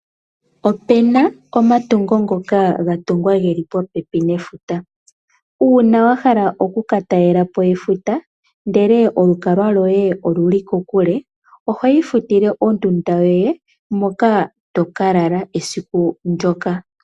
Opena omatungo ngoka ga tungwa geli popepi nefuta, uuna wa hala okuka talela po efuta ndele olukalwa lwoye oluli kokule oho Ifutile ondunda yoye moka toka lala esiku ndjoka.